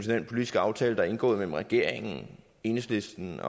den politiske aftale der er indgået mellem regeringen enhedslisten